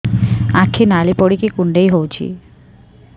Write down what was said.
ଆଖି ନାଲି ପଡିକି କୁଣ୍ଡେଇ ହଉଛି